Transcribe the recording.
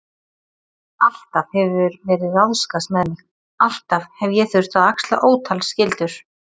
Alltaf hefur verið ráðskast með mig, alltaf hef ég þurft að axla ótal skyldur.